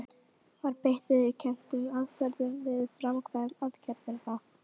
Var beitt viðurkenndum aðferðum við framkvæmd aðgerðarinnar?